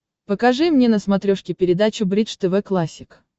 покажи мне на смотрешке передачу бридж тв классик